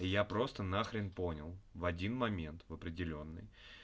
я просто на хрен понял в один момент в определённый